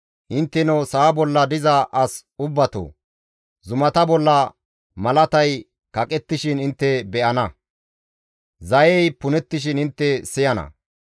Intteno sa7a bolla diza as ubbatoo! zumata bolla malatay kaqettishin intte be7ana; zayey punettishin intte siyana.